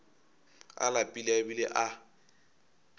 a lapile a bile a